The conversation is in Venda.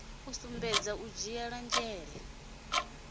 u sumbedza u dzhiela nzhele